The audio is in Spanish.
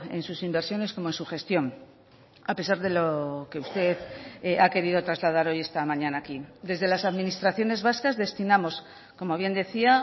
en sus inversiones como en su gestión a pesar de lo que usted ha querido trasladar hoy esta mañana aquí desde las administraciones vascas destinamos como bien decía